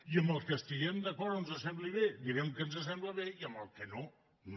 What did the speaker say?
i amb els que estiguem d’acord o ens semblin bé direm que ens semblen bé i amb els que no no